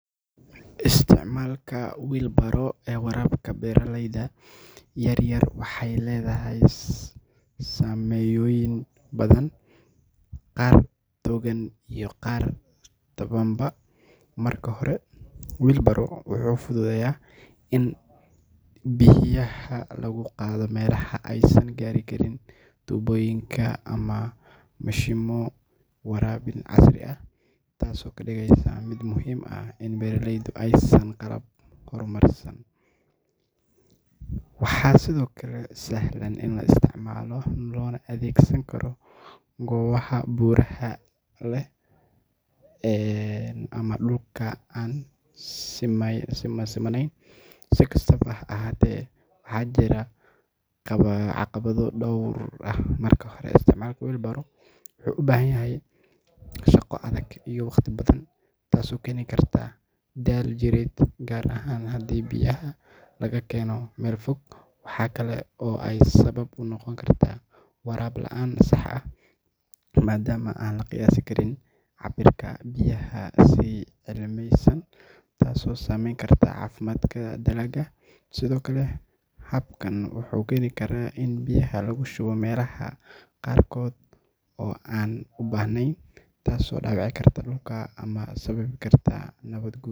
Isticmaalka wheel barrow ee waraabka beeraleyda yaryar waxeey ledahay sameyn badan, qaar dogan iyo qaar tabanba marka hore wuxuu fududeya in bixiya lagu qaado meelaha aaysan gaari karin tuboyinka ama mishimo waraabin casri ah, taas oo kadigeysa mid muhiim u ah in beeraleyda aayasa qalab hor Marsan, waxaa sido kale sahlan in la isticmaalo loona adeegsan karo goobaha buraha leh ama dulka aan simaneyn, si kastaba ha ahaate waxaa jira caqabo door ah, marka hore wuxuu ubahan yahay shaqo adag iyo waqti badan taas oo keeni karta daal jireed gaar ahaan hadii biyaha laga keeno meel fog waxaa kale oo aay sabab unoqon kartaa waraab laan sax ah madaama aan laqiyaasi karin cabirka biyaha, sido kale habkan wuxuu keeni karaa in biyaha lagu shubo meelaha qaarkood aan ubahneen.